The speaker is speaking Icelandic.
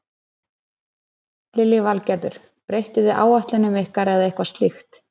Lillý Valgerður: Breyttuð þið áætlun ykkar eða eitthvað slíkt?